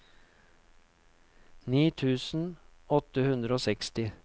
ni tusen åtte hundre og seksti